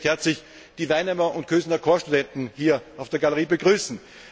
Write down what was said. Ich möchte recht herzlich die Weinheimer und Kösener Corpsstudenten hier auf der Galerie begrüßen.